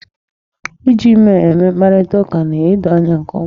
Iji emel eme mkparitaụka na-edo anya nke ọma.